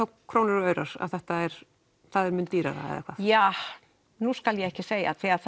krónur og aurar það er mun dýrara eða ja nú skal ég ekki segja því að